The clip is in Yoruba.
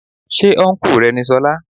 Ṣé ọ́nkù rẹ ni solá.?